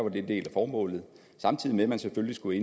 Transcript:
en del af formålet samtidig med at man selvfølgelig skulle